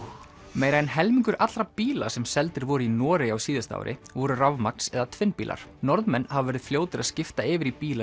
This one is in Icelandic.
meira en helmingur allra bíla sem seldir voru í Noregi á síðasta ári voru rafmagns eða tvinnbílar Norðmenn hafa verið fljótir að skipta yfir í bíla